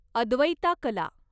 अद्वैता कला